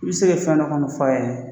I bɛ se ka fɛn dɔ kɔni fɔ a ye